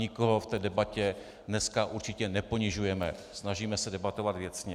Nikoho v té debatě dneska určitě neponižujeme, snažíme se debatovat věcně.